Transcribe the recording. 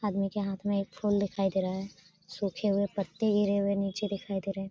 आदमी के हाथ में एक फूल दिखाई दे रहा है सूखे हुए पत्ते गिरे हुए निचे दिखाई दे रहें।